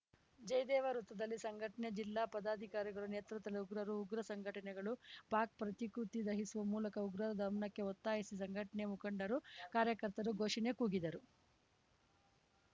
ಜಯದೇವ ವೃತದಲ್ಲಿ ಸಂಘಟನೆ ಜಿಲ್ಲಾ ಪದಾಧಿಕಾರಿಗಳ ನೇತೃತ್ವದಲ್ಲಿ ಉಗ್ರರು ಉಗ್ರ ಸಂಘಟನೆಗಳು ಪಾಕ್‌ ಪ್ರತಿಕೃತಿ ದಹಿಸುವ ಮೂಲಕ ಉಗ್ರರ ದಮನಕ್ಕೆ ಒತ್ತಾಯಿಸಿ ಸಂಘಟನೆ ಮುಖಂಡರು ಕಾರ್ಯಕರ್ತರು ಘೋಷಣೆ ಕೂಗಿದರು